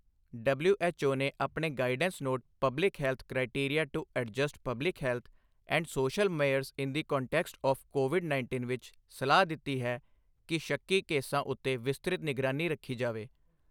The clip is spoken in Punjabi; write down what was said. ਡਬਲਿਊਐਚਓ ਨੇ ਆਪਣੇ guidance note public health criteria to adjust public health and social measures in the context of COVID ਉੱਨੀ ਵਿਚ ਸਲਾਹ ਦਿੱਤੀ ਹੈ ਕਿ ਸ਼ੱਕੀ ਕੇਸਾਂ ਉੱਤੇ ਵਿਸਤ੍ਰਿਤ ਨਿਗਰਾਨੀ ਰੱਖੀ ਜਾਵੇ।